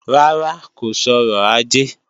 Rárá, kò sọrọ̀ ajé